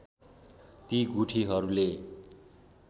ती गुठीहरूले